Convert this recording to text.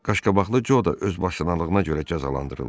Qaşqabaqlı Co da özbaşnalığına görə cəzalandırıldı.